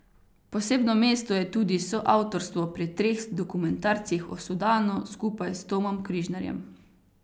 Posebno mesto je tudi soavtorstvo pri treh dokumentarcih o Sudanu skupaj s Tomom Križnarjem.